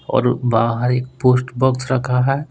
और बाहर एक पोस्ट बॉक्स रखा है।